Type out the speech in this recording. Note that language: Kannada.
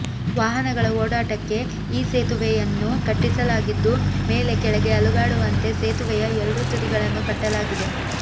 ವಾಹನಗಳ ಓಡಾಟಕ್ಕೆ ಈ ಸೇತುವೆಯನ್ನು ಕಟ್ಟಿಸಲಾಗಿದ್ದು ಮೇಲೆ ಕೆಳಗೆ ಅಲುಗಾಡುವಂತೆ ಸೇತುವೆಯ ಎರಡೂ ತುದಿಗಳನ್ನು ಕಟ್ಟಲಾಗಿದೆ